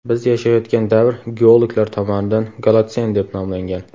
Biz yashayotgan davr geologlar tomonidan golotsen deb nomlangan.